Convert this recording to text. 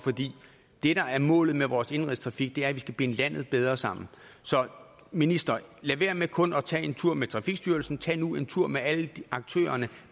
det der er målet med vores indenrigstrafik er at vi skal binde landet bedre sammen så minister lad være med kun at tage en tur med trafikstyrelsen men tag nu en tur med alle aktørerne